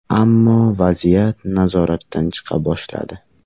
Ammo vaziyat nazoratdan chiqa boshladi.